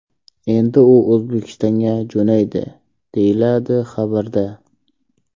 Endi u O‘zbekistonga jo‘naydi”, deyiladi xabarda.